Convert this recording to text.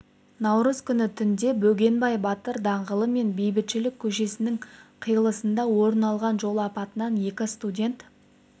наурыз күні түнде бөгенбай батыр даңғылы мен бейбітшілік көшесінің қиылысында орын алған жол апатынан екі студент